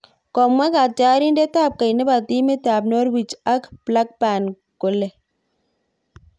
Komwa katyarindet ab keny nebo timit ab norwich ak blackburn kole